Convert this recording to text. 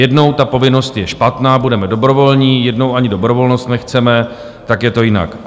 Jednou ta povinnost je špatná, budeme dobrovolní, jednou ani dobrovolnost nechceme, tak je to jinak.